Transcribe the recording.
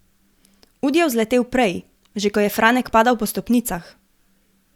Ud je vzletel prej, že ko je Franek padal po stopnicah.